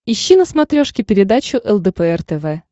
ищи на смотрешке передачу лдпр тв